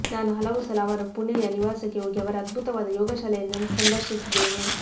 ನಾನು ಹಲವು ಸಲ ಅವರ ಪುಣೆಯ ನಿವಾಸಕ್ಕೆ ಹೋಗಿ ಅವರ ಅದ್ಭುತವಾದ ಯೋಗಶಾಲೆಯನ್ನು ಸಂದರ್ಶಿಸಿದ್ದೇನೆ